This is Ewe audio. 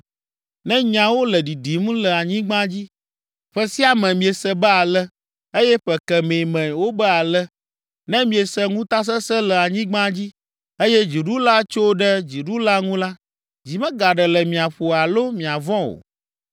Ne nyawo le ɖiɖim le anyigba dzi, ƒe sia me miese be ale, eye ƒe kemɛ me wobe ale, ne miese ŋutasesẽ le anyigba dzi, eye dziɖula tso ɖe dziɖula ŋu la, dzi megaɖe le mia ƒo alo miavɔ̃ o.